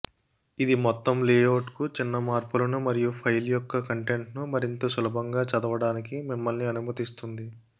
ఇది మొత్తం లేఅవుట్కు చిన్న మార్పులను మరియు ఫైల్ యొక్క కంటెంట్ను మరింత సులభంగా చదవడానికి మిమ్మల్ని అనుమతిస్తుంది